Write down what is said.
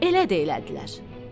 Elə də elədilər.